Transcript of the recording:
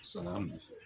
Sala ninnu fɛ